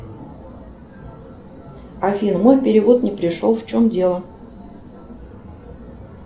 афина мой перевод не пришел в чем дело